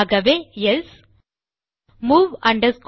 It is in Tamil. ஆகவே எல்சே